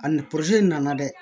A ni poroze nana dɛ